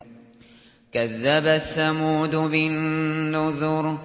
كَذَّبَتْ ثَمُودُ بِالنُّذُرِ